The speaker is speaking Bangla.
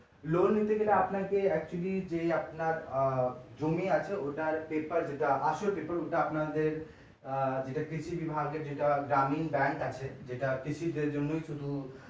loan নিতে গেলে আপনাকে actually যে আপনার আহ জমি আছে ওটার paper যেটা আসল paper ওটা আপনাদের আহ যেটা কৃষি বিভাগের যেটা গ্রামীণ bank আছে যেটা কৃষিদের জন্যই শুধু